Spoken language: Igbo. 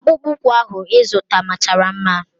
Akpụkpọ ụkwụ ahụ ịzụta machara mma.